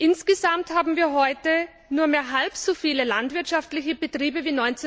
Insgesamt haben wir heute nur mehr halb so viele landwirtschaftliche Betriebe wie